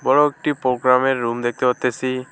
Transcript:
বড়ো একটি পোগ্রামের রুম দেখতে পারতাসি।